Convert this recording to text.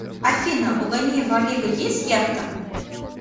афина у ганеева олега есть яхта